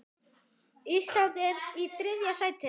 Ísland er í þriðja sæti.